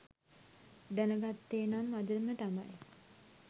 දැන ගත්තේ නම් අදම තමයි